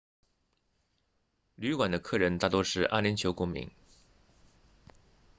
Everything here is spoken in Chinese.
旅馆的客人大多是阿联酋公民